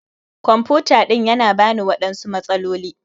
kwamfuta ɗin Yana bani waɗansu matsaloli.